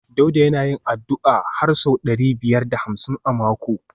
Dauda yana yin addu’a har sau ɗari biyar da hamsin a mako